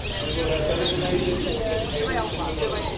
We will have eliminated all tax havens in the world.